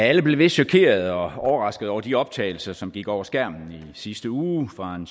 alle blev vist chokeret og overrasket over de optagelser som gik over skærmen i sidste uge fra en